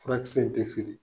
Furakisɛ in tɛ feere.